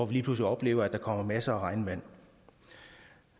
vi lige pludselig oplever at der kommer masser af regnvand